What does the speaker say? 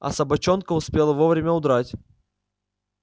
а собачонка успела вовремя удрать